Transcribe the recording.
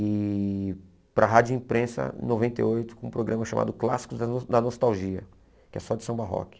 E para a rádio imprensa, em noventa e oito, com um programa chamado Clássicos da no da Nostalgia, que é só de samba rock.